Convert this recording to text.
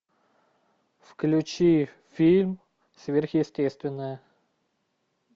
включи фильм сверхъестественное